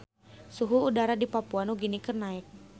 Suhu udara di Papua Nugini keur naek